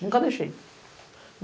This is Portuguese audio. Nunca deixei.